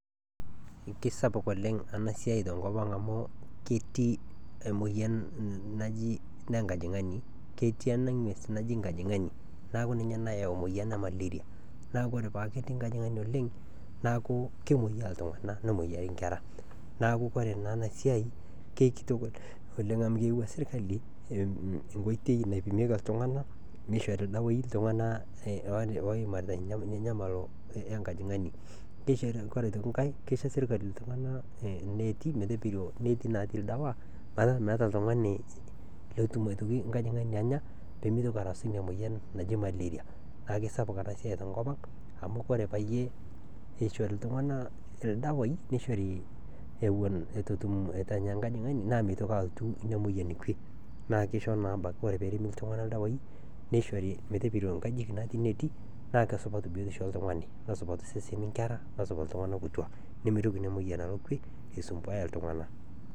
Ekisapuk oleng ena siai tenkop amu ketii emoyian najii ene nkojingani keeti ena ng'ues najii enkojingani neeku ninye nayawua emoyian ee malaria neeku ore pee ekuu ketii enkojingani oleng neeku kemoyia iltung'ana nemoyiaa enkera neeku ore ena enasiai amu eyawua sirkali enkoitoi naipimieki osarge iltung'ana nishori ildawai iltung'ana oitanyamal enkojingani oree sii enkae kisho sirkali netii doi ildawai metaa metaa oltung'ani lotum enkojingani Anya pee mitoki arashu ena moyian najii malaria kake esapuk ena siai tenkop ang amu ore pee eishori iltung'ana ildawai nishori eitu etum enkojingani nimitoki atum pii ore pee eishori iltung'ana ildawai nishori metopiro enkajijik natii enetii naa kepiroki biotisho oltung'ani nesupatu eseni loo iltung'ana iltung'ana kituak oo nkera nemitoki ena moyian aisumbua iltung'ana pii